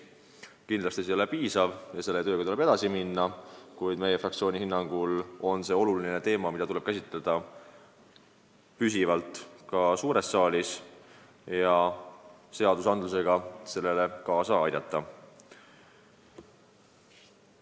Kindlasti see ei ole piisav ja selle tööga tuleb edasi minna, kuid meie fraktsiooni hinnangul on see oluline teema, mida tuleb käsitleda püsivalt ka suures saalis, et seadusandluse täiustamisega midagi ära teha.